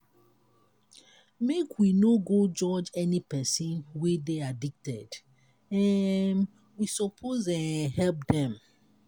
make we no go judge any pesin wey dey addicted um we suppose um help dem.